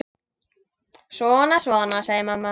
Svona, svona, segir mamma.